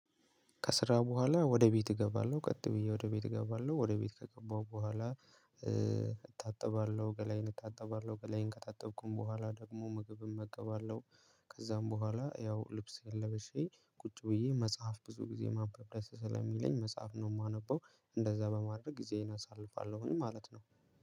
ከስራ በኋላ ወደ ቤት እገባለሁ ቀጥ ብዬ ወደ ቤት እገባለሁ ወደ ቤት ከገባሁ በኋላ እታጠባለሁ ገላዬን እታጠባለሁ ገለዬን ከታጠብኩኝ በኋላ ደግሞ ምግብ እመገባለሁ። ከዛም በኋላ ያው ልብሴን ልብሸ ቁጭ ብዬ መጽሐፍ ብዙ ጊዜ ማንበብ ደስ ስለሚለኝ መጽሐፍ ነው የማነበው። እንደዛ በማድረግ ጊዜዬን አሳልፋለሁኝ ማለት ነው።